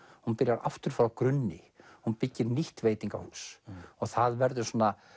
hún byrjar aftur frá grunni hún byggir nýtt veitingahús það verður